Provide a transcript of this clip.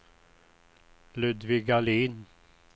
Ludvig Ahlin